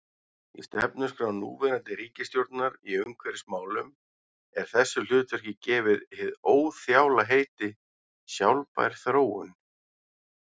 Í stefnuskrá núverandi ríkisstjórnar í umhverfismálum er þessu hlutverki gefið hið óþjála heiti: sjálfbær þróun.